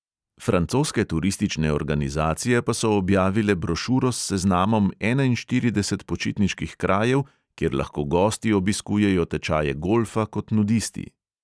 Francoske turistične organizacije pa so objavile brošuro s seznamom enainštirideset počitniških krajev, kjer lahko gosti obiskujejo tečaje golfa kot nudisti.